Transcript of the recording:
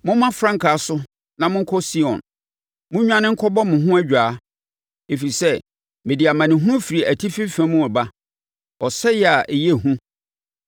Momma frankaa so na monkɔ Sion monnwane nkɔbɔ mo ho adwaa! Ɛfiri sɛ mede amanehunu firi atifi fam reba, ɔsɛeɛ a ɛyɛ hu.”